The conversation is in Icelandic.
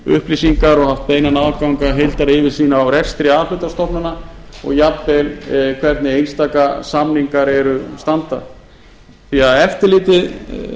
upplýsingar og haft beinan aðgang að heildaryfirsýn á rekstri a hluta stofnana og jafnvel hvernig einstaka samningar standa því að eftirlitið